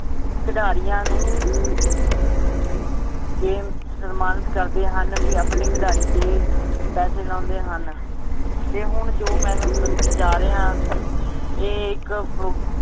ਖਿਡਾਰੀਆਂ ਨੂੰ game ਸਨਮਾਨਿਤ ਕਰਦੇ ਹਨ ਵੀ ਆਪਣੇ ਖਿਡਾਰੀ ਤੇ ਪਾਸੇ ਲਾਉਂਦੇ ਹਨ ਤੇ ਹੁਣ ਜੋ ਮੈ ਤੁਹਾਨੂੰ ਦੱਸਣ ਜਾਰ੍ਹਿਆਂ ਇਹ ਇੱਕ ਫ~